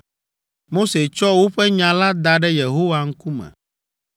Mose tsɔ woƒe nya la da ɖe Yehowa ŋkume,